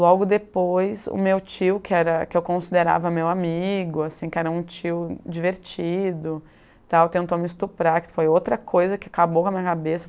Logo depois, o meu tio, que era que eu considerava meu amigo, assim, que era meu tio divertido e tal, tentou me estuprar, que foi outra coisa que acabou com a minha cabeça.